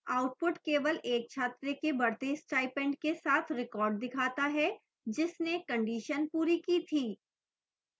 output केवल एक छात्र के बढ़ते स्टाइपेंड के साथ record दिखाता है जिसने condition पूरी की थी